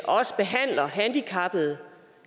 også handicappede